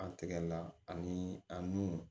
An tigɛlila ani a nun